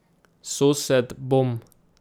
Sosed: ''Bom!